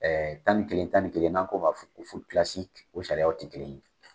tan ni kelen tan ni kelen n'an k'o ma o sariyaw ti kelen ye.